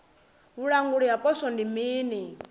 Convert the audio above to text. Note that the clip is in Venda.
vhulanguli ha poswo ndi mini